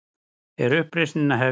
Er uppreisnin að hefjast?